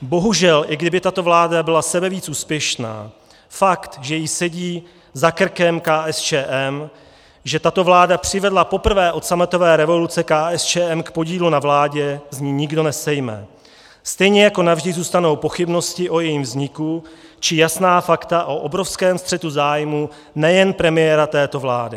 Bohužel i kdyby tato vláda byla sebevíc úspěšná, fakt, že jí sedí za krkem KSČM, že tato vláda přivedla poprvé od sametové revoluce KSČM k podílu na vládě, z ní nikdo nesejme, stejně jako navždy zůstanou pochybnosti o jejím vzniku či jasná fakta o obrovském střetu zájmů nejen premiéra této vlády.